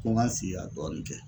Ko n ka n sigi ka dɔɔni kɛ.